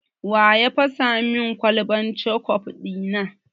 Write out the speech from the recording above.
Wa ya fasa min kwalban kecof ɗi na?